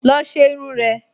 Lọ ṣe irun rẹ!